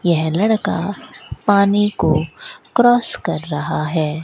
यह लड़का पानी को क्रॉस कर रहा है।